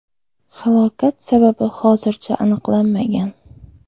Halokat sababi hozircha aniqlanmagan.